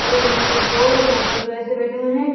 और एक नाव पर दो और एक नाव पे दो ऐसे बैठे हुए है।